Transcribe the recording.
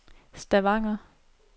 Stavanger